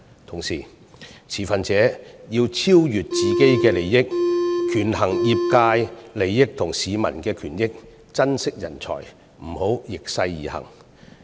同時，持分者要超越自己的利益，權衡業界利益和市民權益，珍惜人才，不要逆勢而行。